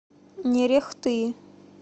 нерехты